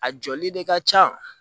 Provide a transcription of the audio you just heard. A jɔli de ka ca